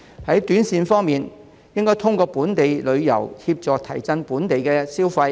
在短線方面，當局應該透過本地旅遊，協助提振本地消費。